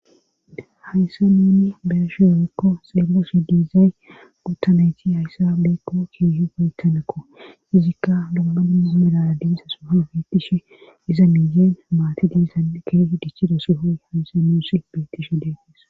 Haysse nunni bee'ihi yerekko xeeleshe diizay gottanayti hayssa beekko keehu geytanakko izikka gummadummumelaa diisa suha beitishe iza miiyeen maati diizan keeh dichidosihoy haysse muusi beitishe deegeesa.